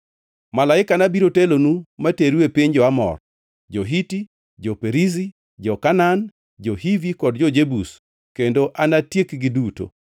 Malaikana biro telonu materu e piny jo-Amor, jo-Hiti, jo-Perizi, jo-Kanaan, jo-Hivi kod jo-Jebus kendo anatiekgi duto.